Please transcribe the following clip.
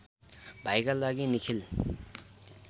भाइका लागि निखिल